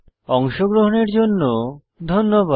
অংশগ্রহনের জন্য ধন্যবাদ